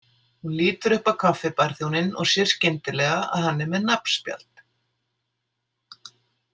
Hún lítur upp á kaffibarþjóninn og sér skyndilega að hann er með nafnspjald.